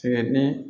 Tigɛ ni